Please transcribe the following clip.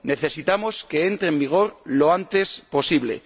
necesitamos que entre en vigor lo antes posible.